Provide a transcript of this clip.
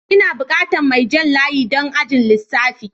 Ina bukatan mai jan layi don ajin lissafi.